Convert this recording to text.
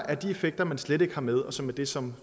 er de effekter man slet ikke har med og som er det som